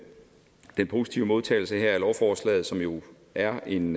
positive modtagelse her af lovforslaget som jo er en